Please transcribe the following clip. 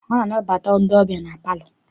A na-anabata ndị ọbịa na palọ.